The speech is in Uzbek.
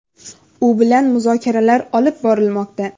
U bilan muzokaralar olib borilmoqda.